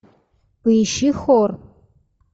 поищи хор